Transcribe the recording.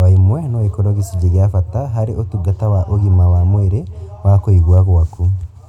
O ĩmwe no ĩkorwo gĩcunjĩ gia bata harĩ ũtungata wa ũgima wa mwĩrĩ wa kũigua gwaku